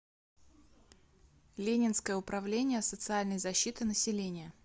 ленинское управление социальной защиты населения